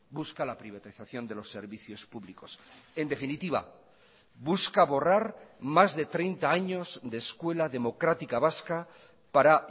busca la privatización de los servicios públicos en definitiva busca borrar más de treinta años de escuela democrática vasca para